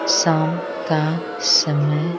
शाम का समय--